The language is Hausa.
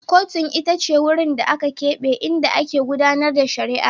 Kotun ita ce wurin da aka keɓe inda ake gudAnar da shari'a